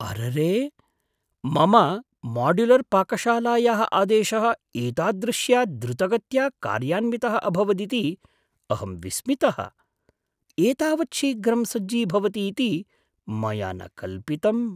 अररे! मम माड्युलर्पाकशालायाः आदेशः एतादृश्या द्रुतगत्या कार्यान्वितः अभवदिति अहं विस्मितः, एतावत् शीघ्रं सज्जीभवति इति मया न कल्पितम्!